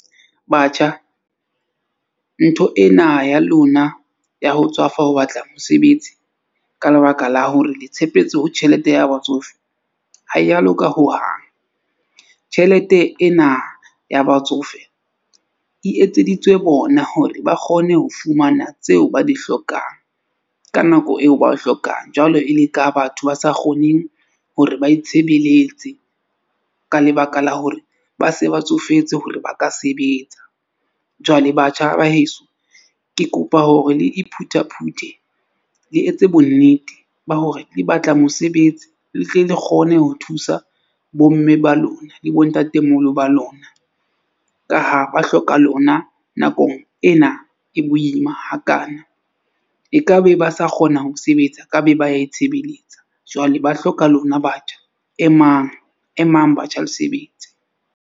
Batjha ntho ena ya lona ya ho tswafa ho batla mosebetsi ka lebaka la hore le tshepetse ho tjhelete ya batsofe ha ya loka hohang. Tjhelete ena ya batsofe e etseditswe bona hore ba kgone ho fumana tseo ba di hlokang ka nako eo ba e hlokang. Jwalo e le ka batho ba sa kgoneng hore ba itshebeletse ka lebaka la hore ba se ba tsofetse hore ba ka sebetsa. Jwale batjha ba heso, ke kopa hore le iphuthaphute, le etse bonnete ba hore le batla mosebetsi le tle le kgone ho thusa bo mme ba lona le bo ntatemoholo ba lona, ka ha ba hloka lona nakong ena e boima hakaana. E ka be ba sa kgona ho sebetsa, ekabe ba itshebeletsa jwale ba hloka lona batjha, emang emang batjha le sebetse.